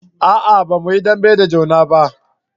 a'a ba mu yi dambe da juna ba